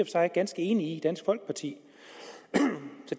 sig ganske enige i i dansk folkeparti